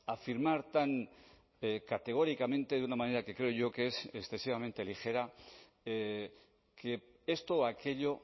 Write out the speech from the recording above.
a afirmar tan categóricamente de una manera que creo yo que es excesivamente ligera que esto o aquello